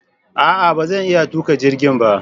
A'a! Ba zan iya tuka jirgin ba.